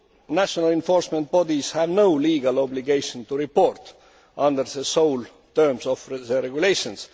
National enforcement bodies have no legal obligation to report under the sole terms of the regulations.